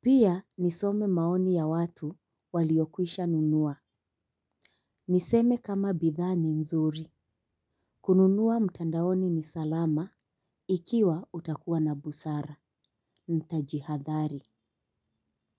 Pia nisome maoni ya watu waliokwisha nunua. Niseme kama bidhaa ni nzuri. Kununua mtandaoni ni salama ikiwa utakuwa na busara, ntajihadhari.